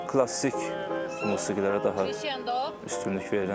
Klassik musiqilərə də üstünlük verirəm.